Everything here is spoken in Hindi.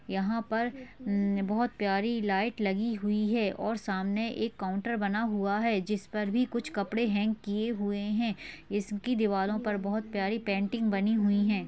यहा पर हम्म बहुत प्यारी लाइट लगी हुई है और सामने एक काउंटर बना हुआ है जिस पर भी कुछ कपड़े हँग की हुए है इसकी दीवारों पर बहुत प्यारी पेंटिंग बनी हुई है।